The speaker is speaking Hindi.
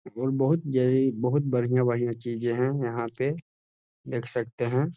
और बहुत जरूरी और बहुत बढ़िया- बढ़िया चीजें हैं यहाँ पे देख सकते हैं ।